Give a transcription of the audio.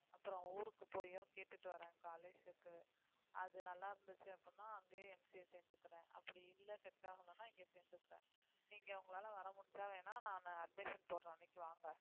அப்புறம் ஊருக்கு போயும் கேட்டுட்டு வரேன் college க்கு அது நல்லா இருந்துச்சு அப்படின்னா அங்கேயே MCA சேர்ந்துக்கிறேன் அப்படி இல்லை set ஆகலைன்னா இங்கே சேர்ந்துக்கிறேன் நீங்க உங்களால வர முடிஞ்சா வேணா நானு admission போடுற அன்னைக்கு வாங்க